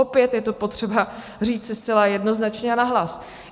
Opět je to potřeba říci zcela jednoznačně a nahlas.